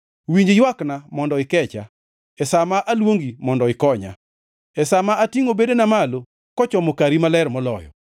Winj ywakna mondo ikecha e sa ma aluongi mondo ikonya, e sa ma atingʼo bedena malo kochomo Kari Maler Moloyo.